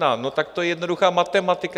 No tak to je jednoduchá matematika.